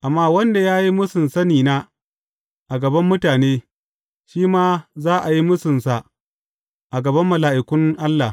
Amma wanda ya yi mūsun sanina a gaban mutane, shi ma za a yi mūsunsa a gaban mala’ikun Allah.